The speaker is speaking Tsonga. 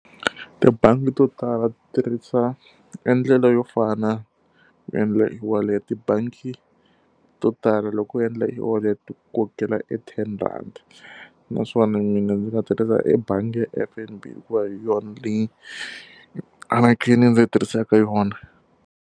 Tibangi to tala tirhisa endlela yo fana ku endla e-wallet. Tibangi to tala loko u endla e-wallet-i ti ku kokela e ten rhandi. Naswona mina ndzi ta tirhisa ebangi ya F_N_B hikuva hi yona leyi anakeni ndzi yi tirhisaka yona.